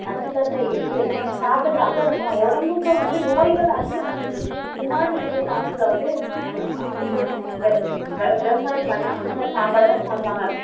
நச்சுத்தன்மை இருக்கு இருக்கு நம்ம சாப்பிட சாப்பிட நம்ம உடம்புக்கு வந்து நோய்கள் அதிகமாயிட்டு இருக்கு முன்னாடி இருந்த காலத்துல வந்து நல்லா சாப்பிட்டு இந்த இந்த விவசாயம் பண்ண அந்த சாப்பாடதான சாப்பிடுவாங்க